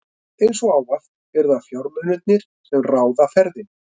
Eins og ávallt eru það fjármunirnir, sem ráða ferðinni.